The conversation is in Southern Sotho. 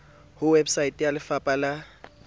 ho website ya lefapa la